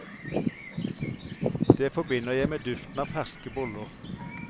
Det forbinder jeg med duften av ferske boller.